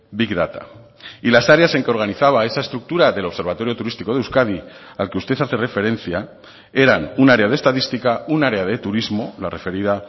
big data y las áreas en que organizaba esa estructura del observatorio turístico de euskadi al que usted hace referencia eran un área de estadística un área de turismo la referida